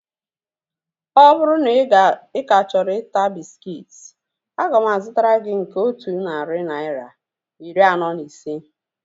Ọ bụrụ na ị ka chọrọ ịta bịskit, aga m azụtara gị nke otu narị naira, iri anọ na ise